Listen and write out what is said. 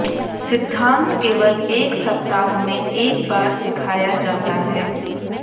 सिद्धांत केवल एक सप्ताह में एक बार सिखाया जाता है